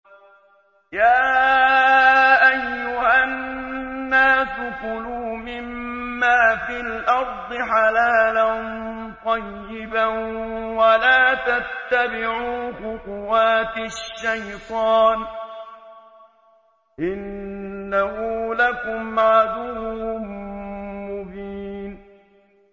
يَا أَيُّهَا النَّاسُ كُلُوا مِمَّا فِي الْأَرْضِ حَلَالًا طَيِّبًا وَلَا تَتَّبِعُوا خُطُوَاتِ الشَّيْطَانِ ۚ إِنَّهُ لَكُمْ عَدُوٌّ مُّبِينٌ